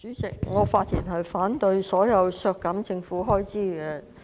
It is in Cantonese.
主席，我反對所有削減政府開支的修正案。